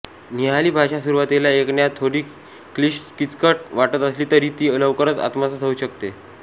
निहाली भाषा सुरुवातीला ऐकण्यास थोडी क्लिष्ट किचकट वाटत असली तरी ती लवकर आत्मसात होऊ शकते